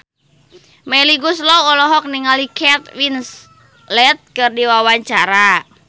Melly Goeslaw olohok ningali Kate Winslet keur diwawancara